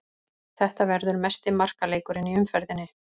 Þetta verður mesti markaleikurinn í umferðinni.